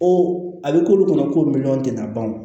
O a bɛ k'olu kɔnɔ ko miliyɔn tɛna ban o